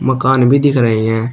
मकान भी दिख रहे हैं।